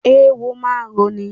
Eéwó máa ń roni.